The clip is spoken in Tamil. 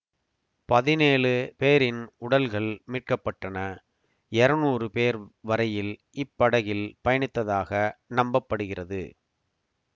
பதினேழு பேரின் உடல்கள் மீட்க பட்டன எரநூறு பேர் வரையில் இப்படகில் பயணித்ததாக நம்ப்பப்படுகிறது